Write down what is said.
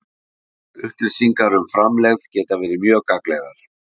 Upplýsingar um framlegð geta verið mjög gagnlegar.